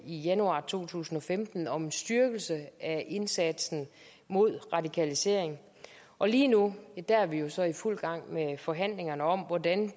januar to tusind og femten en om en styrkelse af indsatsen mod radikalisering og lige nu er vi vi så i fuld gang med forhandlingerne om hvordan